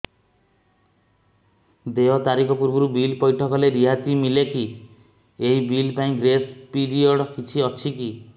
ଦେୟ ତାରିଖ ପୂର୍ବରୁ ବିଲ୍ ପୈଠ କଲେ ରିହାତି ମିଲେକି ଏହି ବିଲ୍ ପାଇଁ ଗ୍ରେସ୍ ପିରିୟଡ଼ କିଛି ଅଛିକି